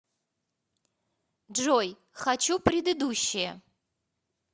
джой хочу предыдущее